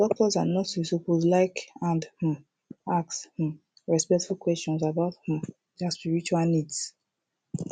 ah doctors and nurses suppose to like and um ask um respectful questions about um dia spiritual needs